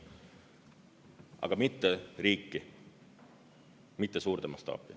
Aga mitte riiki, mitte suurde mastaapi.